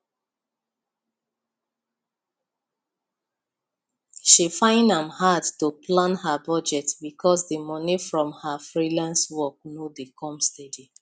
she find am hard to plan her budget because the money from her freelance work no dey come steady